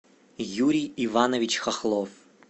юрий иванович хохлов